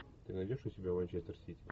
ты найдешь у себя манчестер сити